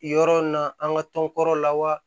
Yɔrɔ in na an ka tɔn kɔrɔw lawa